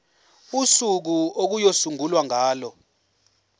usuku okuyosungulwa ngalo